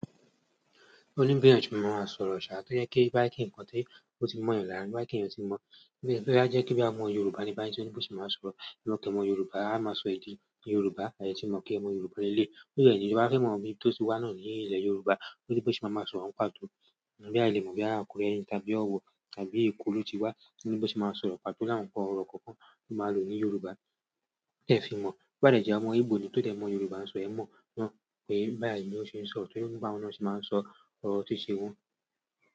O ní bí eyàn ṣe mọ maa sọ̀rọ̀ sáà, tó jẹ́ kí to bá jẹ kí ǹkan tí ó ti mọ̀ yan lára ní to bá jẹ kí ẹ̀yan tí mọ̀. Bẹ́ẹ̀ boya je ke boya ọmọ Yorùbá ní báyìí, à ní tí ò ni bó ṣe máa sọ̀rọ̀, èè mo kẹ́ ọmọ Yorùbá, a máa sọ èdè Yorùbá, àa de tí mọ̀ kè pmọ Yorùbá lẹ́léyii. Ó de ni te ba fẹ́ mọ̀ ibí tó ti wà náà ní ilé Yorùbá, o ni bó ṣe máa maa sọ̀rọ̀ n pàtó. Boya a lè mọ̀ boya Akure ni tàbí ọ̀wọ̀ tàbí Eko lo ti wà, òní bó ṣe máa sọ̀rọ̀ pàtó láwọn nǹkan ọ̀rọ̀ kankan tó máa lò ní Yorùbá, tee fi mọ̀. Ba de jẹ 0mọ ìbò ni tó dẹ̀ mọ Yorùbá sọ̀, ẹe mọ̀ náà pé báyìí ni ó ṣe ń sọ̀rọ̀, tóri o ní báwọn náà se máa ń sọ ọ̀rọ̀ tí ti wọ́n.